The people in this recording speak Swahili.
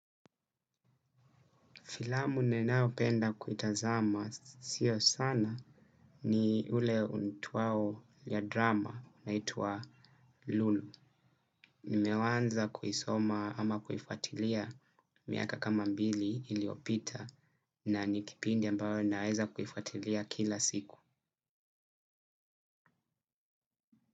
Filamu nenayo penda kuitazama sio sana ni ule unaitwao ya drama naitwa Lulu. Nimewaza kuisoma ama kuifatilia miaka kama mbili iliyopita na nikipindi ambayo naweza kuifatilia kila siku.